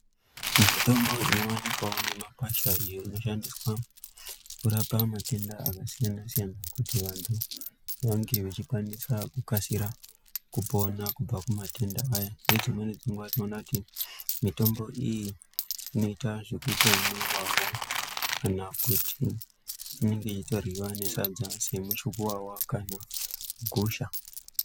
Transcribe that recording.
Mitombo inowanikwawo mumakwasha iyo inoshandiswa kurapa matenda akasiyana-siyana kuti vantu vange vechikwanisa kukasira kupona kubva kumatenda aya. Ngedzimweni dzenguwa tinoona kuti mitombo iyi inoita zvekutomwiwawo kana kuti inenge yeitoryiwa nesadza semuchukuwawa kana gusha.